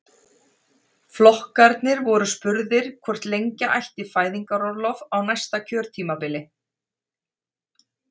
Flokkarnir voru spurðir hvort lengja ætti fæðingarorlofið á næsta kjörtímabili?